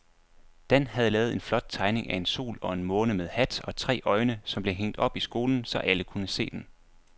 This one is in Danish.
Dan havde lavet en flot tegning af en sol og en måne med hat og tre øjne, som blev hængt op i skolen, så alle kunne se den.